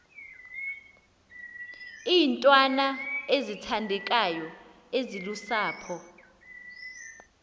iintwana ezithandekayo ezilusapho